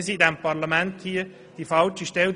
Als Parlament sind wir die falsche Stelle.